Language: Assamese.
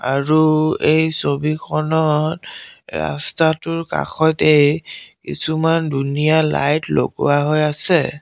আৰু এই ছবিখনত ৰাস্তাটোৰ কাষতেই কিছুমান ধুনীয়া লাইট লগোৱা হৈ আছে।